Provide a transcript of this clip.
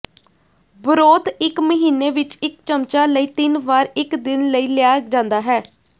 broth ਇੱਕ ਮਹੀਨੇ ਵਿੱਚ ਇੱਕ ਚਮਚਾ ਲਈ ਤਿੰਨ ਵਾਰ ਇੱਕ ਦਿਨ ਲਈ ਲਿਆ ਜਾਂਦਾ ਹੈ